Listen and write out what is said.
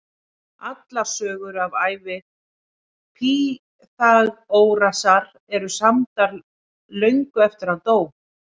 Allar sögur af ævi Pýþagórasar eru samdar löngu eftir að hann dó.